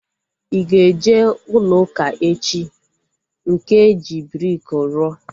I ga-eje ụlọ ụka echi? Nke eji briki rụọ